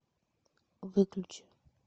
выключи